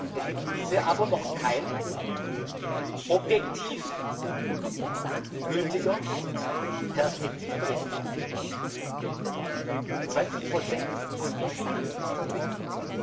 Es liegt bisher aber noch kein objektiv gültiger Perspektivbericht vor. 20 von wie viel ist unbekannt.